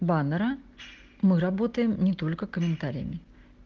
баннера мы работаем не только комментариями